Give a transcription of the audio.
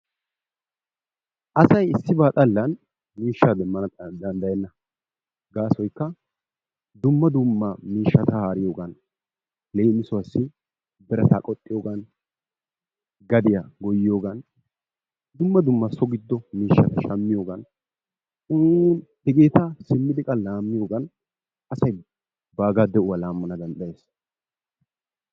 Asay issibaa xallan miishshaa demmana danddayenna, gaasoykka dumma dumma miishshaata haariyogan leemissuwaassi birata qoxxiyogan, gadiya goyioyogan dumma dumma so giddo miishshata shammiyogan hegeeta simmidi qa laammiyogan asay baaga de'uwa laamanna danddayees.